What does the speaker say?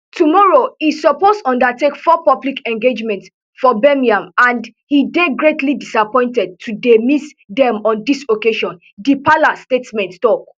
tomorrow e suppose undertake four public engagements for birmingham and e dey greatly disappointed to dey miss dem on dis occasion di palace statement tok